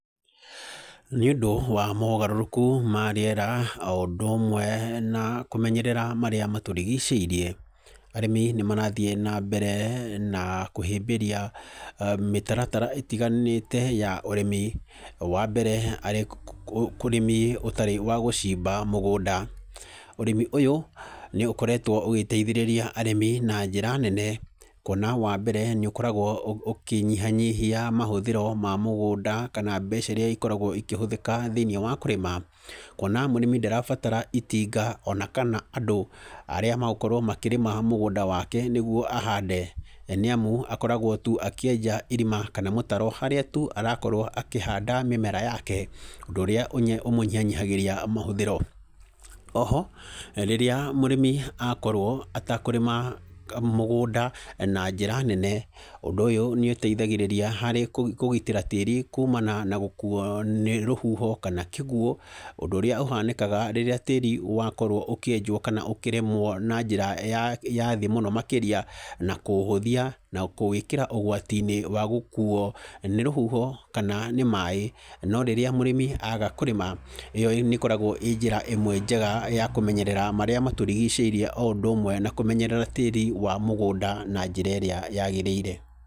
Nĩ ũndũ wa mogarũrũku ma rĩera o ũndũ ũmwe na kũmenyerera marĩa matũrigicĩirie, arĩmi nĩ marathiĩ na mbere na kũhĩmbĩria mĩtaratara ĩtiganĩte ya ũrĩmi. Wa mbere, arĩ ũrĩmi ũtarĩ wa gũcimba mũgũnda. Ũrĩmi ũyũ nĩ ũkoretwo ũgĩteithĩrĩria arĩmi na njĩra nene, kuona wa mbere nĩ ũkoragwo ũkĩnyihanyihia mahũthĩro ma mũgũnda kana mbeca irĩa ikoragwo ikĩhũthĩka thĩiniĩ wa kũrĩma. Kuona mũrĩmi ndarabatara itinga ona kana andũ arĩa megũkorwo makĩrĩma mũgũnda wake nĩguo ahande. Nĩ amu akoragwo tu akĩenja irima kana mũtaro harĩa tu arakorwo akĩhanda mĩmera yake, ũndũ ũrĩa ũmũnyihanyihagĩria mohũthĩro. Oho rĩrĩa mũrĩmi akorwo atekũrĩma mũgũnda na njĩra nene, ũndũ ũyũ nĩ ũteithagĩrĩria harĩ kũgitĩra tĩĩri kumana na gũkuo nĩ rũhuho kana kĩguo. Ũndũ ũrĩa ũhanĩkaga rĩrĩa tĩĩri wakorwo ũkĩenjwo kana ũkĩrĩmwo na njĩra ya thĩ mũno makĩria, na kũũhũthia na kũwĩkĩra ũgwati-inĩ wa gũkuo nĩ rũhuho kana nĩ maĩ. No rĩrĩa mũrĩmi aga kũrĩma, ĩyo nĩ ĩkoragwo ĩ njĩra ĩmwe njega ya kũmenyerera marĩa matũrigicĩirie, o ũndũ ũmwe na kũmenyerera tĩĩri wa mũgũnda na njĩra ĩrĩa yaagĩrĩire.